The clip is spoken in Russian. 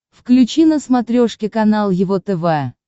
включи на смотрешке канал его тв